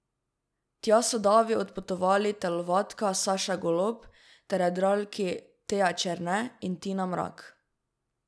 Tja so davi odpotovali telovadka Saša Golob ter jadralki Teja Černe in Tina Mrak.